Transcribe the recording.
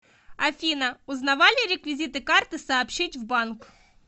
афина узнавали реквизиты карты сообщить в банк